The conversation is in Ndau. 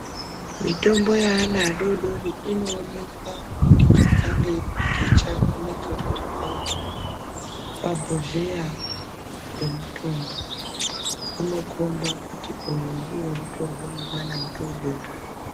Mitombo yeana adoodori inoonekwa kubudikidza ngemupikicha unenge uri pabhodhleya pemutombo. Unokhomba kuti uyu ndiwo unotorwa ngemwana mudoodori.